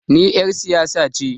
Ni er siyasa ce